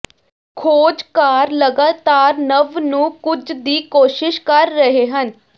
ਖੋਜਕਾਰ ਲਗਾਤਾਰ ਨਵ ਨੂੰ ਕੁਝ ਦੀ ਕੋਸ਼ਿਸ਼ ਕਰ ਰਹੇ ਹਨ